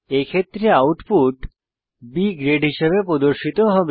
এক্ষেত্রেআউটপুট B grade হিসাবে প্রদর্শিত হবে